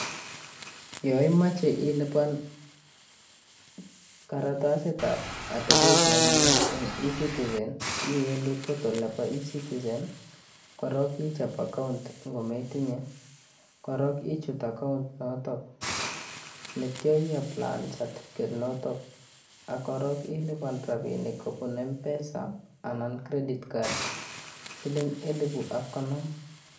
Yo imoche ilipan karatasit ab atabet nemye en eCitizen iwendi portal nebo eCitizen korok ichop account kometinye, korok ichuut account inotok neityo iapplaen certificate noton ak korok ilipan rapinik kobu Mpesa anan Credit card siling elifu ak konom